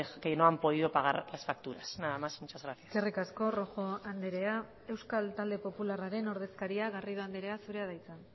que no han podido pagar las facturas nada más muchas gracias eskerrik asko rojo andrea euskal talde popularraren ordezkaria garrido andrea zurea da hitza